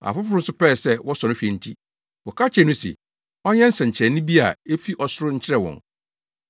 Afoforo nso pɛe sɛ wɔsɔ no hwɛ nti, wɔka kyerɛɛ no se, ɔnyɛ nsɛnkyerɛnne bi a efi ɔsoro nkyerɛ wɔn.